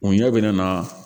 U ɲɛ bɛ na